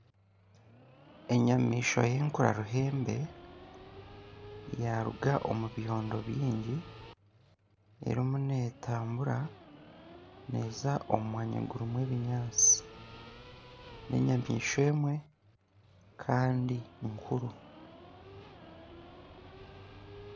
Enyamaishwa y'enkura ruhembe yaaruga omu byondo bingi erimu neetambura neeza omu mwanya gurimu ebinyaatsi n'enyamaishwa emwe kandi nkuru